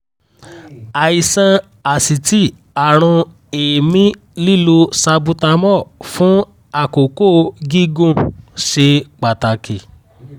àìsàn asítì àrùn èémí lílo salbutamol fún àkókò gígùn ṣe pàtàkì?